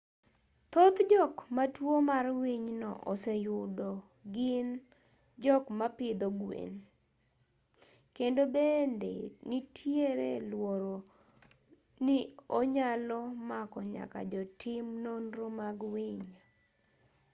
thoth jok ma tuo mar winyno oseyudo gin jok mapidho gwen kendo bende nitier luoro ni onyalo mako nyaka jotim nonro mag winy